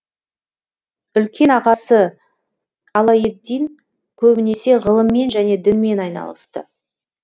үлкен ағасы алаеддин көбінесе ғылыммен және дінмен айналысты